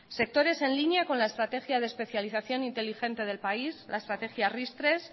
sectores en línea con la estrategia de especialización inteligente del país la estrategia ristres